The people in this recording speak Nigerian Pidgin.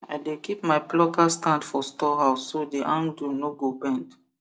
i dey keep my plucker stand for storehouse so the handle no go bend